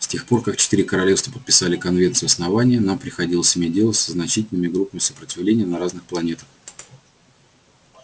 с тех пор как четыре королевства подписали конвенцию основания нам приходилось иметь дело со значительными группами сопротивления на разных планетах